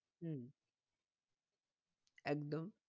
হম একদম